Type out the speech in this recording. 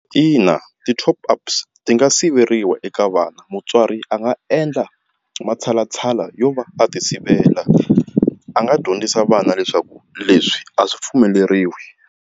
Ina, ti-top ups ti nga siveriwa eka vana mutswari a nga endla matshalatshala yo va a ti sivela a nga dyondzisa vana leswaku leswi a swi pfumeleriwi.